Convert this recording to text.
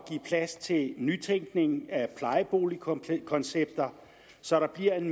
plads til nytænkning af plejeboligkoncepter så der bliver et